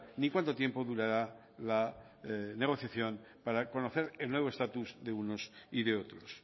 ni cuánto tiempo durará la negociación para conocer el nuevo estatus de unos y de otros